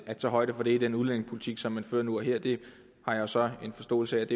at tage højde for det i den udlændingepolitik som man fører nu og her det har jeg så en forståelse af